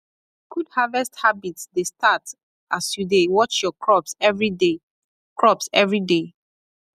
good harvest habit dey start as you dey watch your crops everyday crops everyday